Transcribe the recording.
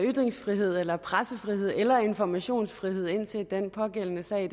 ytringsfrihed eller pressefrihed eller informationsfrihed indtil den pågældende sag